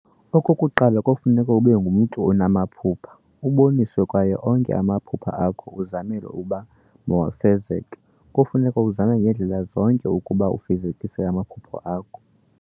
okokuqala kofuneka ube ngumntu onama phupha, uboniswe kwaye onke amaphupha akho uzamele uba mawafezeke, kufuneka uzame ngendlela zonke ukuba ufezekise amaphupha akho.